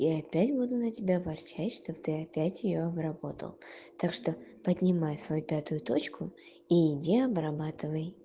я опять буду на тебя ворчать что ты опять её обработал так что поднимай свою пятую точку и иди обрабатывай